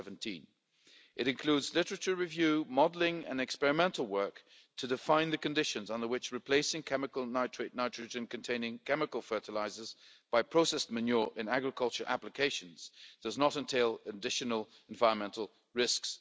in 2017. It includes literature review, modelling and experimental work to define the conditions under which replacing chemical nitrogen containing chemical fertilisers by processed manure in agriculture applications does not entail additional environmental